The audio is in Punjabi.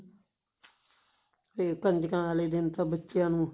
ਤੇ ਕੰਜਕਾ ਵਾਲੇ ਦਿਨ ਤਾਂ ਬੱਚਿਆਂ ਨੂੰ